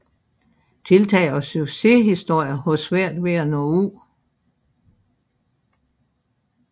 Tiltag og succeshistorier har svært ved at nå ud